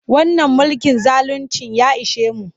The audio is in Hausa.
Wannan mulkin zaluncin ya ishe mu.